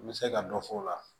N bɛ se ka dɔ fɔ o la